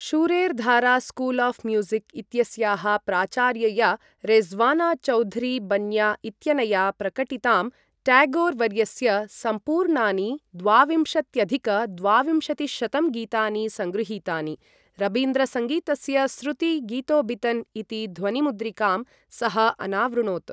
Shurer Dhara School of Music इत्यस्याः प्राचार्यया रेज़्वाना चौधरी बन्न्या इत्यनया प्रकटितां, ट्यागोर् वर्यस्य सम्पूर्णानि द्वाविंशत्यधिक द्वाविंशतिशतं गीतानि सङ्गृहीतानि, रबीन्द्रसङ्गीतस्य स्रुति गितोबितन् इति ध्वनिमुद्रिकां सः अनावृणोत्।